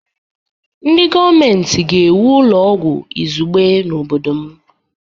Ndị gọọmentị ga-ewu ụlọ ọgwụ izugbe n'obodo m.